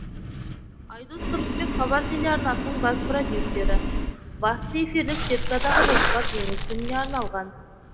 айдос тұрысбек хабар телеарнасының бас продюсері басты эфирлік сеткадағы жоспар жеңіс күніне арналған